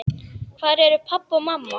Hvar eru pabbi og mamma?